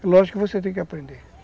Lógico que você tem que aprender.